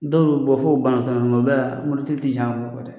Dɔw bɛ bɔ fo banabaatɔ o bɛɛ la mototigi tɛ jɛn a ka wari kɔ dɛ